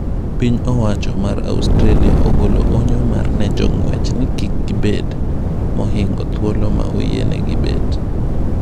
Piny owacho mar Australia ogolo onyo mar ne jong'wech ni kik gibed mohingo thuolo ma oyienegi bet .